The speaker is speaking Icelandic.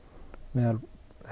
meðal